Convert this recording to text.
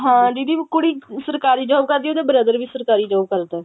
ਹਾਂ ਦੀਦੀ ਕੁੜੀ ਸਰਕਾਰੀ job ਕਰਦੀ ਹੈ ਉਹਦਾ brother ਵੀ ਸਰਕਾਰੀ job ਕਰਦਾ